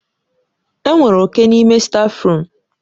Enwere oke n'ime stáfruum.